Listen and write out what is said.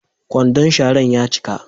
Kwandon sharan ya cika.